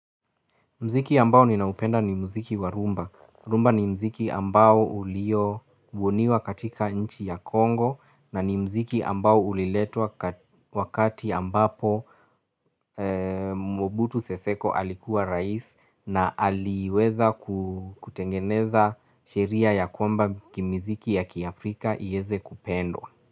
Mziki ambao ninaupenda ni mziki wa rhumba. Rumba ni mziki ambao ulio uoniwa katika nchi ya Kongo na ni mziki ambao uliletwa wakati ambapo Mwobutu Seseko alikuwa rais na aliweza kutengeneza sheria ya kwamba kimiziki ya Kiafrika yeze kupendwa.